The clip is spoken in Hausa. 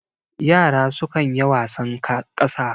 yara sukan ya wasan kasa